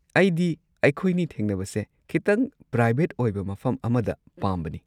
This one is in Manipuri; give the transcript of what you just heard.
ꯑꯩꯗꯤ ꯑꯩꯈꯣꯏꯅꯤ ꯊꯦꯡꯅꯕꯁꯦ ꯈꯤꯇꯪ ꯄ꯭ꯔꯥꯏꯚꯦꯠ ꯑꯣꯏꯕ ꯃꯐꯝ ꯑꯃꯗ ꯄꯥꯝꯕꯅꯤ꯫